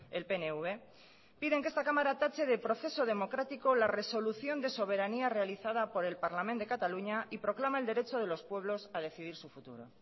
el pnv tache de proceso democrático la resolución de soberanía realizada por el parlament de cataluña y proclama el derecho de los pueblos a decidir su futuro